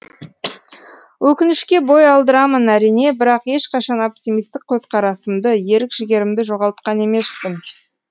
өкінішке бой алдырамын әрине бірақ ешқашан оптимистік көзқарасымды ерік жігерімді жоғалтқан емеспін